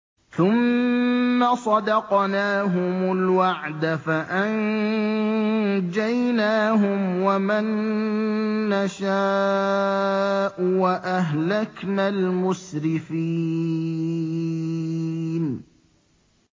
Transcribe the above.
ثُمَّ صَدَقْنَاهُمُ الْوَعْدَ فَأَنجَيْنَاهُمْ وَمَن نَّشَاءُ وَأَهْلَكْنَا الْمُسْرِفِينَ